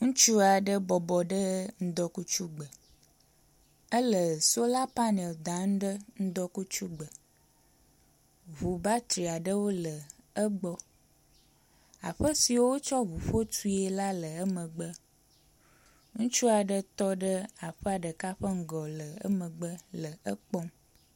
ŋutsuaɖe bɔbɔnɔ ŋdɔkutsu gbe ele sola panel dam ɖe ŋdɔkutsugbe ʋu batriaɖewo le egbɔ aƒe si wotsɔ ʋuƒó tue la le emegbe ŋutsuaɖe tɔɖe aƒea ɖeka ƒe ŋgɔ le emegbe le ekpɔm